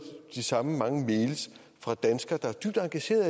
de samme mange mails fra danskere der er dybt engageret